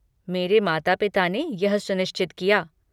मेरे माता पिता ने यह सुनिश्चित किया।